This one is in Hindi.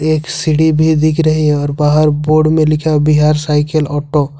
एक सीढ़ी भी दिख रही है और बाहर बोर्ड में लिखा हुआ है बिहार साइकिल ऑटो ।